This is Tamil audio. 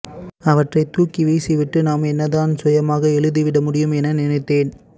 அவற்றைத் தூக்கி வீசிவிட்டு நாம் என்னதான் சுயமாக எழுதிவிடமுடியும் என நினைத்தேன்